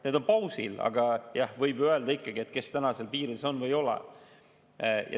Need on pausil, aga jah, võib ikkagi öelda, kes täna on seal piirides või ei ole.